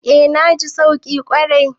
Eh na ji sauki kwarai.